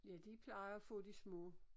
Ja de plejer at få de små